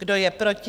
Kdo je proti?